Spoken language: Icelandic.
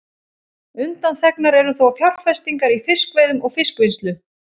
Undanþegnar eru þó fjárfestingar í fiskveiðum og fiskvinnslu.